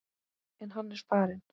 En hann er farinn.